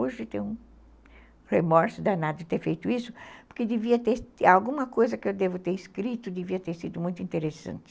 Hoje tenho um remorso danado de ter feito isso, porque alguma coisa que eu devo ter escrito devia ter sido muito interessante.